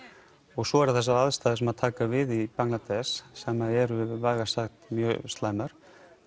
og svo eru þessar aðstæður sem taka við í Bangladesh sem eru vægast sagt mjög slæmar